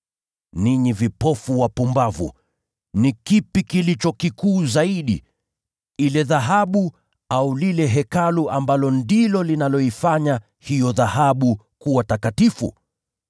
Ninyi vipofu wapumbavu! Ni kipi kilicho kikuu zaidi: ni ile dhahabu, au ni lile Hekalu linaloifanya hiyo dhahabu kuwa takatifu?